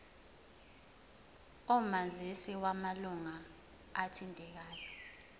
omazisi wamalunga athintekayo